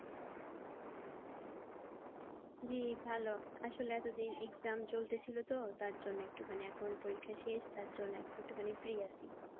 জি ভালো আসলে এতদিন exam চলতেছিল তো তার জন্য একটুখানি এখন পরীক্ষা শেষ তার জন্য একটুখানি free আছি।